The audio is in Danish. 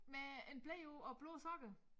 Med en ble på og blå sokkert